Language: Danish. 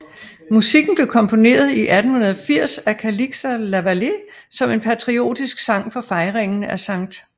Musikken blev komponeret i 1880 af Calixa Lavallée som en patriotisk sang for fejringen af St